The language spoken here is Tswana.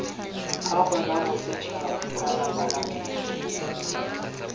gago la bosetšhaba kana palamente